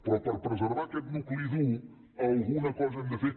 però per preservar aquest nucli dur alguna cosa hem de fer